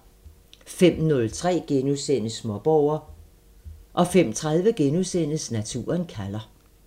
05:03: Småborger * 05:30: Naturen kalder *